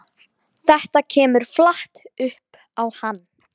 Þetta kemur flatt upp á hann.